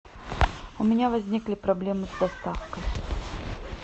у меня возникли проблемы с доставкой